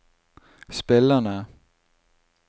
spillerne